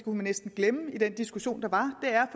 man næsten glemme i den diskussion der var er